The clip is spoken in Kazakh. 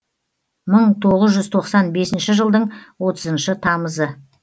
мың тоғыз жүз тоқсан бесінші жылдың отызыншы тамызы